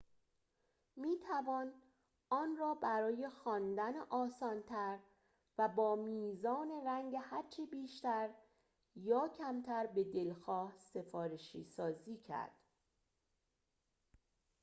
می‌توان آن را برای خواندن آسان‌تر و با میزان رنگ هرچه بیشتر یا کمتر به‌دلخواه سفارشی‌سازی کرد